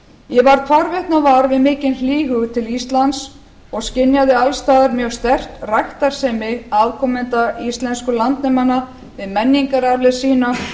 ég varð hvarvetna vör við mikinn hlýhug til íslands og skynjaði alls staðar mjög sterkt ræktarsemi afkomenda íslensku landnemanna við menningararfleifð sína